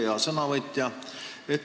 Hea sõnavõtja!